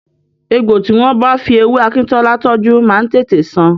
Egbò tí wọ́n bá fi ewé akíntọ́lá tọ́jú máa ń tètè san.